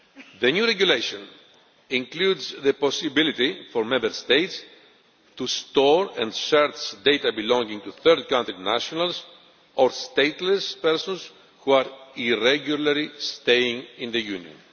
The new regulation includes the possibility for Member States to store and search data belonging to third country nationals or stateless persons who are irregularly staying in the Union.